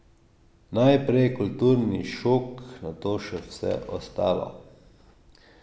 Najprej kulturni šok, nato še vse ostalo.